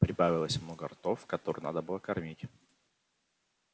прибавилось много ртов которые надо было кормить